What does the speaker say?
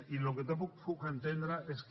i el que tampoc puc entendre és que